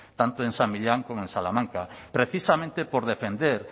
tanto en san millán como en salamanca precisamente por defender